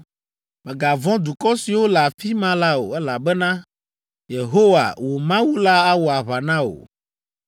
Mègavɔ̃ dukɔ siwo le afi ma la o, elabena Yehowa, wò Mawu la awɔ aʋa na wò.”